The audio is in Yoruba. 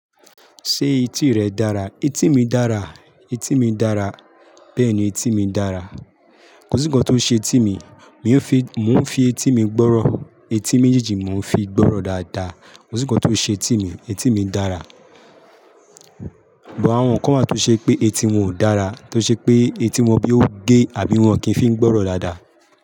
Ṣé etí rẹ dára? Etí mi dára, etí mi dára, bẹ́ẹ̀ni etí mi dára. Kò sí ǹkan tó ṣe etí mi, mò ń fi, mò ń fi etí mi gbọ́rọ̀, etí méjèèjì mò ń fi gbọ́rọ̀ dáadáa. Kò sí ǹkan tó ṣe etí mi, etí mi dára. Gbo àwọn kan máa tó ṣe pé etí wọn ò dára, tó ṣe pé etí wọn bí ó gé àbí wọn kì í fi ń gbọ́rọ̀ dáadáa.